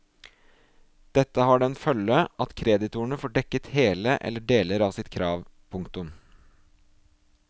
Dette har den følge at kreditorene får dekket hele eller deler av sitt krav. punktum